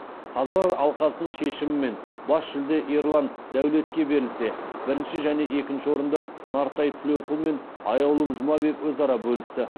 қазылар алқасының шешімімен бас жүлде ерлан дәулетке берілсе бірінші және екінші орындарды нартай тілеуқұл мен аяулым жұмабек өзара бөлісті